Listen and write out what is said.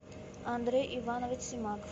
андрей иванович семак